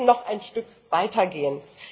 Sie müssen noch ein Stück weitergehen.